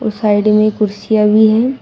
और साइड में कुर्सियां भी हैं।